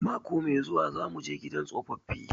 Mako mai zuwa za muje gidan tsofaffi